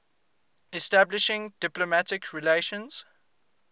establishing diplomatic relations